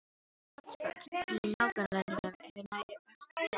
Vatnsföll í nágrannalöndunum eru nær öll dragár.